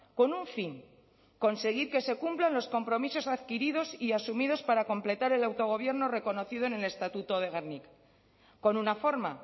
con un fin conseguir que se cumplan los compromisos adquiridos y asumidos para completar el autogobierno reconocido en el estatuto de gernika con una forma